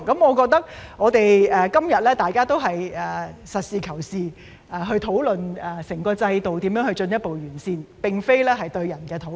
我覺得大家今天都是實事求是，討論如何進一步完善整個制度，而並非針對個人進行討論。